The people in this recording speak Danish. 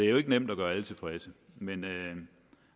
jo ikke nemt at gøre alle tilfredse men